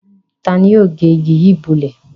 Ta ni yóò gé igi yìí bọ́lẹ̀?